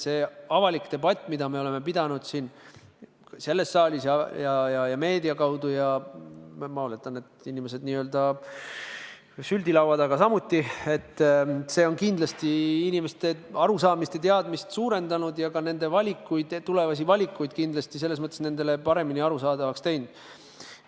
See avalik debatt, mida me oleme pidanud siin selles saalis ja meedia kaudu – ja ma oletan, et inimesed on seda n-ö süldilaua taga samuti arutanud –, on kindlasti inimeste arusaamist ja teadmisi suurendanud ja see kindlasti kergendab ka nende tulevasi valikuid.